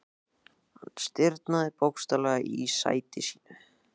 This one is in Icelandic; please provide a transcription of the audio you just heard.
Hann stirðnaði bókstaflega í sæti sínu.